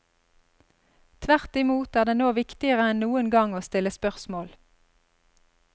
Tvertimot er det nå viktigere enn noen gang å stille spørsmål.